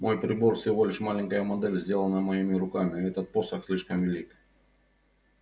мой прибор всего лишь маленькая модель сделанная моими руками а этот посох слишком велик